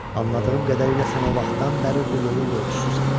Anladığım qədərilə sən o vaxtdan bəri bu yolun yolçususan.